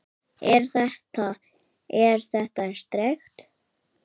Er þetta. er þetta sterkt?